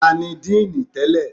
Tani díì nì tẹ́lẹ̀?